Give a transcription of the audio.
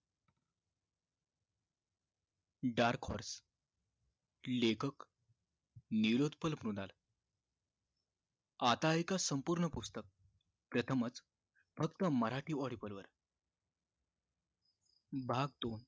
dark horse लेखक निलोत्पल म्रीणाल आता ऐका संपुर्ण पुस्तकं प्रथमच फक्त मराठी audiobal वर भाग